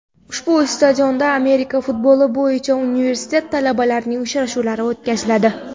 Ushbu stadionda Amerika futboli bo‘yicha universitet talabalarining uchrashuvlari o‘tkaziladi.